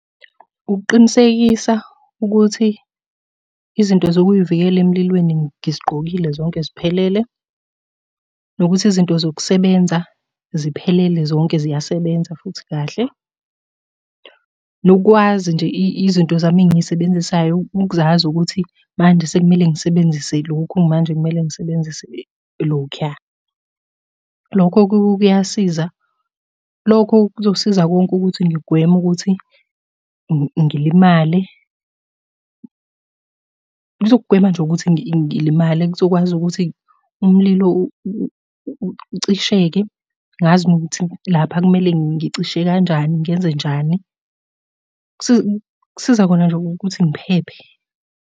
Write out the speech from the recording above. Ukuqinisekisa ukuthi izinto zokuyivikela emlilweni ngizigqokile zonke ziphelele, nokuthi izinto zokusebenza ziphelele zonke ziyasebenza futhi kahle. Nokukwazi nje izinto zami engiy'sebenzisayo, ukuzazi ukuthi manje sekumele ngisebenzise lokhu, manje kumele ngisebenzise lokhuya. Lokho kuyasiza, lokho kuzosiza konke ukuthi ngigweme ukuthi ngilimale. Kuzogwema nje ukuthi ngilimale kuzokwazi ukuthi umlilo ucisheke. Ngazi nokuthi lapha kumele ngicishe kanjani ngenzenjani. Kusiza khona nje ukuthi ngiphephe.